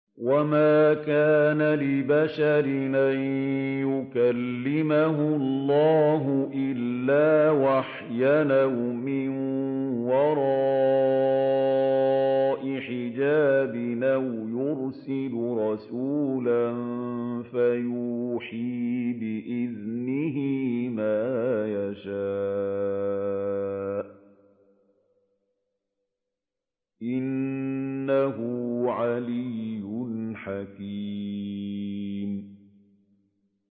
۞ وَمَا كَانَ لِبَشَرٍ أَن يُكَلِّمَهُ اللَّهُ إِلَّا وَحْيًا أَوْ مِن وَرَاءِ حِجَابٍ أَوْ يُرْسِلَ رَسُولًا فَيُوحِيَ بِإِذْنِهِ مَا يَشَاءُ ۚ إِنَّهُ عَلِيٌّ حَكِيمٌ